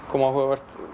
kom áhugavert